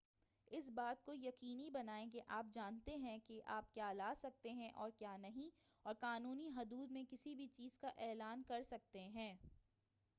اس بات کو یقینی بنائیں کہ آپ جانتے ہیں کہ آپ کیا لا سکتے ہیں اور کیا نہیں اور قانونی حدود میں کسی بھی چیز کا اعلان کرسکتے ہیں